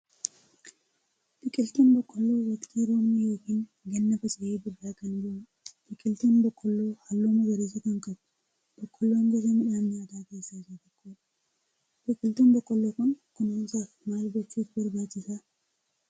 Biqiltuun boqqoolloo waqxii roobni yookiin ganna faca'ee birraa kan gahudha. Biqiltuun boqqoolloo halluu magariisa kan qabuu. Boqqoolloon gosa midhaan nyaataa keessaa isa tokkodha. Biqiltuu boqqoolloo kan kunuunsuuf maal gochuutu barbaachisa?